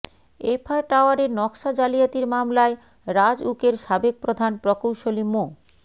F R টাওয়ারের নকশা জালিয়াতির মামলায় রাজউকের সাবেক প্রধান প্রকৌশলী মো